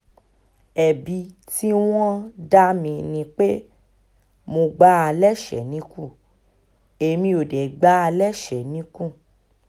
ẹ̀bi tí wọ́n ń dá mi ni pé mo gbá a lẹ́sẹ̀ẹ́ níkùn èmi ò dẹ̀ gbá a lẹ́sẹ̀ẹ́ níkùn